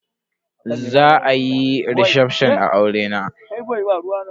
Za a yi recefshon a aurena.